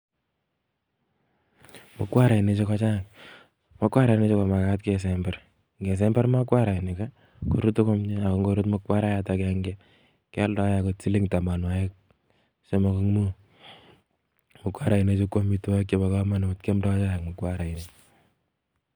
Mukwarainiju kochang' mukwarainiju komakat kesember ,ngesember mokwarainik korutu komie ako ngorut mokwarayat agenge kealdae angot siling tamanwakik taman amuk mokwarainikju kwamitwakik chebo kamanut kiamdoi chaik mukwarainik